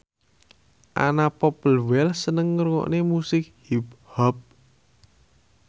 Anna Popplewell seneng ngrungokne musik hip hop